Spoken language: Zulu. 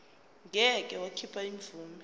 ngeke wakhipha imvume